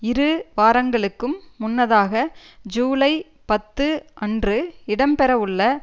இரு வாரங்களுக்கும் முன்னதாக ஜூலை பத்து அன்று இடம்பெறவுள்ள